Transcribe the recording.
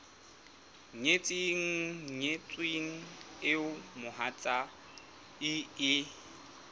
nyetseng nyetsweng eo mohatsae e